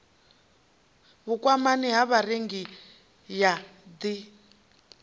vhukwamani ha vharengi ya dti